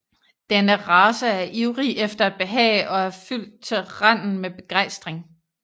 Denne race er ivrig efter at behage og er fyldt til randen med begejstring